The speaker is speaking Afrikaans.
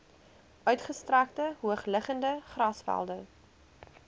uitgestrekte hoogliggende grasvelde